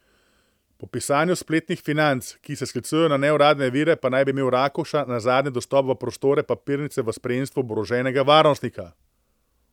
Po pisanju spletnih Financ, ki se sklicujejo na neuradne vire, pa naj bi imel Rakuša nazadnje dostop v prostore papirnice v spremstvu oboroženega varnostnika.